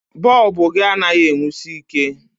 Bọlbụ gị anaghị e nwusi ike.